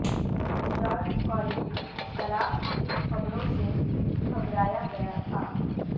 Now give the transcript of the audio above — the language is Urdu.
جارج کولونی طلاق کی خبروں سے گھبرایا گیا تھا